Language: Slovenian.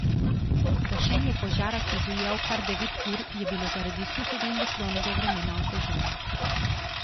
Gašenje požara, ki je divjal kar devet ur, je bilo zaradi suhega in vetrovnega vremena oteženo.